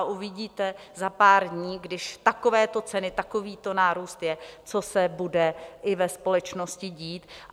A uvidíte za pár dní, když takovéto ceny, takovýto nárůst je, co se bude i ve společnosti dít.